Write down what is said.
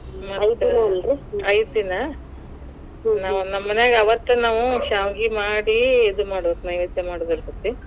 ಐದ್ ದಿನ ನಾವ್ ನಮ್ ಮನ್ಯಾಗ ಅವತ್, ನಾವ್ ಶಾವಗಿ ಮಾಡಿ ಇದ್ ಮಾಡ್ ಬೇಕ್ ನೈವೇದ್ಯ ಮಾಡಬೇಕ್ಕಾಕ್ಕೇತಿ.